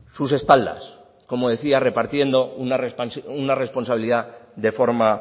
sus espaldas como decía repartiendo una responsabilidad de forma